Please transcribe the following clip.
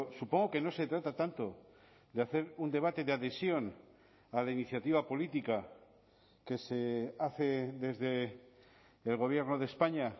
supongo que no se trata tanto de hacer un debate de adhesión a la iniciativa política que se hace desde el gobierno de españa